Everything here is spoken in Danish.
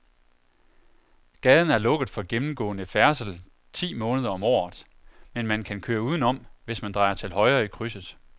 Gaden er lukket for gennemgående færdsel ti måneder om året, men man kan køre udenom, hvis man drejer til højre i krydset.